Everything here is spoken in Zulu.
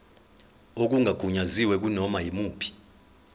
okungagunyaziwe kunoma yimuphi